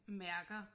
Mærker